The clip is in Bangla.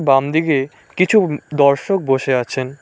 বামদিগে কিছু উ দর্শক বসে আছেন।